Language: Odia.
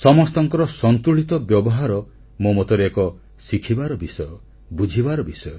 ସମସ୍ତଙ୍କର ସନ୍ତୁଳିତ ବ୍ୟବହାର ମୋ ମତରେ ଏକ ଶିଖିବାର ବିଷୟ ବୁଝିବାର ବିଷୟ